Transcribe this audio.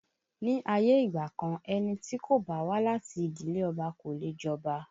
Ní ayé ìgbà kan, ẹni tí kò bá wá láti ìdílé Ọba kò leè jọba